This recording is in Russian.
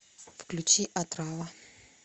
включи отрава